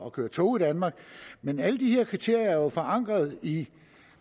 at køre tog i danmark men alle de her kriterier er jo forankret i